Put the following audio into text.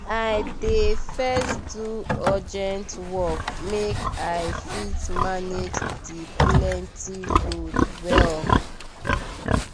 i dey first do urgent work make i fit manage the plenty load well.